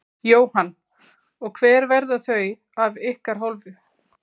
Jóhann: Og hver verða þau af ykkar hálfu?